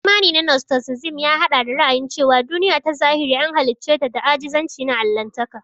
Imani na nostisizim ya haɗa da ra'ayin cewa duniya ta zahiri an halicce ta da ajizanci na Allahntaka.